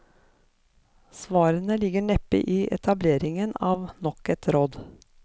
Svarene ligger neppe i etableringen av nok et råd.